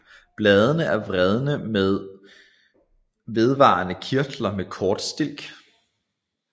Bladene er vredne med vedvarende kirtler og kort stilk